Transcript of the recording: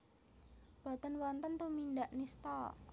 Boten wonten tumindak nistha